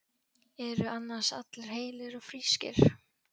Eru annars allir heilir og frískir?